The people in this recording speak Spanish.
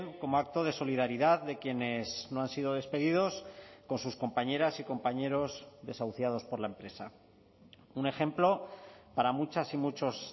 como acto de solidaridad de quienes no han sido despedidos con sus compañeras y compañeros desahuciados por la empresa un ejemplo para muchas y muchos